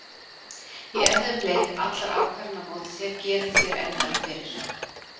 Í erfiðum leik, allar ákvarðanir á móti þér gerir þér erfiðara fyrir.